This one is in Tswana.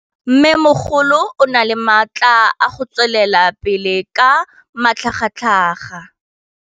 Mmêmogolo o na le matla a go tswelela pele ka matlhagatlhaga.